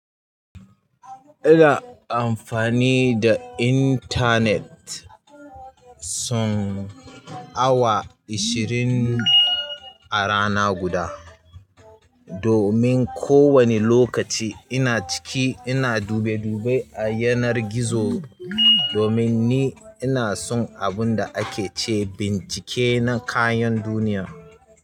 Ina amfani da intanet kusan awa ishirin a rana guda. Domin ko wane lokaci ina ciki ina dube-dube a yanar gizo, domin ina son abunda ake ce bincike na kayan duniya.